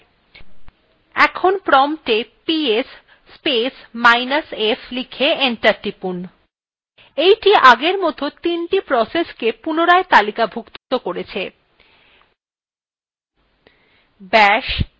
এখন promptএ গিয়ে ps space minus f লিখে enter টিপুন এইটি এখন আগের মতন ৩the প্রসেসকে পুনরায় তালিকাভুক্ত করবে